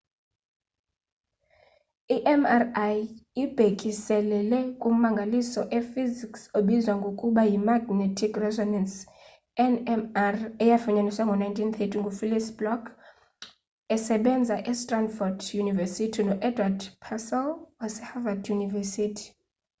mri ibhekiselele kummangaliso ee -hysics obizwa ngokuba yi-magnetic resonance nmr eyafunyaniswa ngo-1930 ngufelix bloch esebenza e stanford university no-edward purcell waseharvad university